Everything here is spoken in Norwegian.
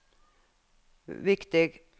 viktig